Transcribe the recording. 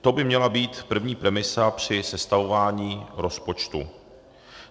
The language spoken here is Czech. To by měla být první premisa při sestavování rozpočtu.